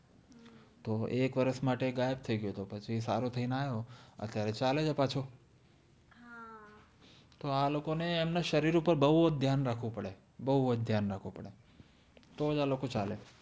તો એક વરસ માતે ગાયબ થૈઇ ગ્યો તો પછિ સારો થૈ ને આયો અત્લે અવે ચાલે છે પાછો તો આ લોકોને અમ્ને શરિર ઉપર બૌ ધ્યાન આપ્વો પ્ડ઼એ છે બૌ જ ધ્ય઼અન રાખ્વો પદે તો જ આ લોકો ચાલે